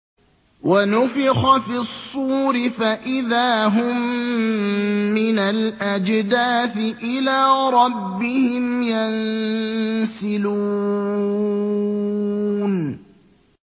وَنُفِخَ فِي الصُّورِ فَإِذَا هُم مِّنَ الْأَجْدَاثِ إِلَىٰ رَبِّهِمْ يَنسِلُونَ